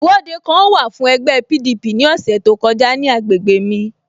Ìwọ́de kan wà fún ẹgbẹ́ PDP ní ọ̀sẹ̀ tó kọjá ní agbègbè mj